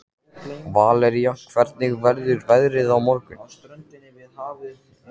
Valería, hvernig verður veðrið á morgun?